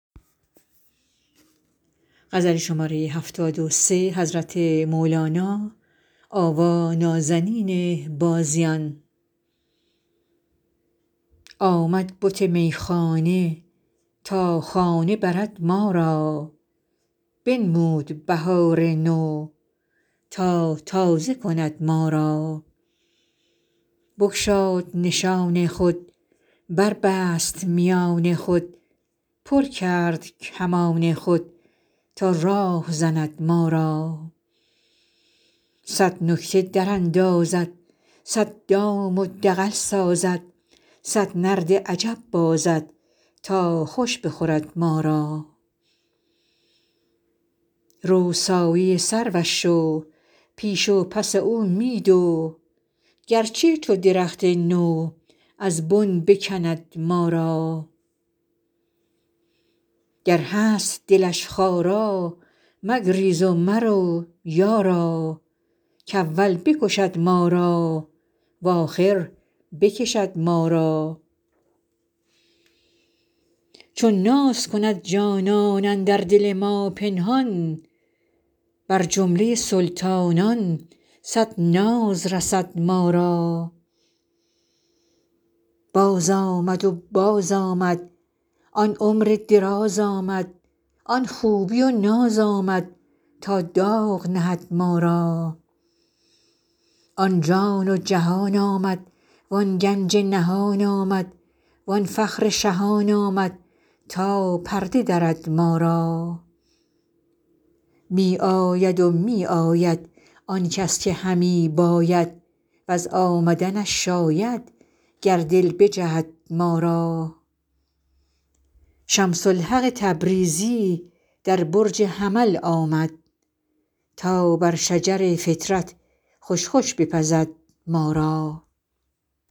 آمد بت میخانه تا خانه برد ما را بنمود بهار نو تا تازه کند ما را بگشاد نشان خود بربست میان خود پر کرد کمان خود تا راه زند ما را صد نکته دراندازد صد دام و دغل سازد صد نرد عجب بازد تا خوش بخورد ما را رو سایه سروش شو پیش و پس او می دو گرچه چو درخت نو از بن بکند ما را گر هست دلش خارا مگریز و مرو یارا کاول بکشد ما را و آخر بکشد ما را چون ناز کند جانان اندر دل ما پنهان بر جمله سلطانان صد ناز رسد ما را بازآمد و بازآمد آن عمر دراز آمد آن خوبی و ناز آمد تا داغ نهد ما را آن جان و جهان آمد وان گنج نهان آمد وان فخر شهان آمد تا پرده درد ما را می آید و می آید آن کس که همی باید وز آمدنش شاید گر دل بجهد ما را شمس الحق تبریزی در برج حمل آمد تا بر شجر فطرت خوش خوش بپزد ما را